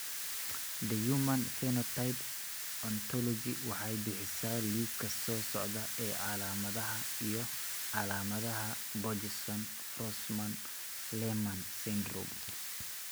The Human Phenotype Ontology waxay bixisaa liiska soo socda ee calaamadaha iyo calaamadaha Borjeson Forssman Lehmann syndrome.